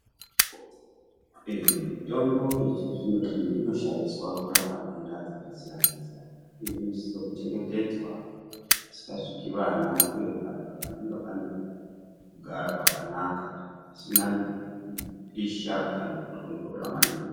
Ehe mitombo yechizvino-zvino inoshandiswa kurapa nhenda dzakasiyana-siyana inosiso kuchengetedzwa pasingasviki vana uye panenge pane kugara kwakanaka. Pasina kupisha kana kutondora maningi.